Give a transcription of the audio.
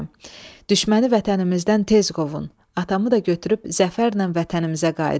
Düşməni vətənimizdən tez qovun, atamı da götürüb zəfərlə vətənimizə qayıdın."